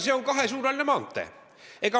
See on kahesuunaline maantee.